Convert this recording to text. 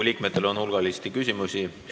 Riigikogu liikmetel on hulganisti küsimusi.